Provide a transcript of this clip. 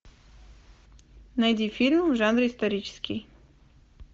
найди фильм в жанре исторический